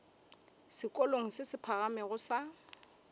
sekolong se se phagamego sa